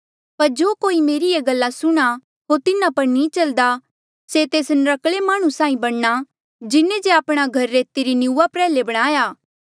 पर जो कोई मेरी ये गल्ला सुणहां होर तिन्हा पर नी चल्दा से तेस नर्क्कले माह्णुं साहीं बणना जिन्हें जे आपणा घर रेते री निंऊँआं प्रयाल्हे बणाया